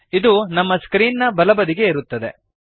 ಇದು ನಮ್ಮ ಸ್ಕ್ರೀನ್ ನ ಬಲಬದಿಗೆ ಇರುತ್ತದೆ